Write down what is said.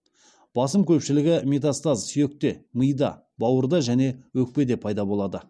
басым көпшілігі метастаз сүйекте мида бауырда және өкпеде пайда болады